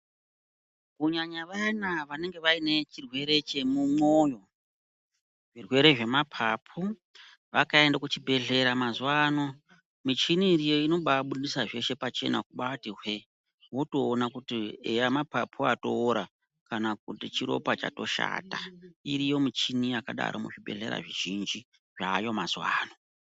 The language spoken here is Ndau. Kunyanya vayana vanenge vaine chirwere chemumwoyo, zvirwere zvemapapu vakaenda kuchibhehlera mazuwano michini iriyo inobabudisa zveshe pachena kuti hwee wotoona kuti eya mapapu atoora kana kuti chiropa chatoshata iriyo michini yakadaro muzvibhehlera zvizhinji zvaayo mazuwano.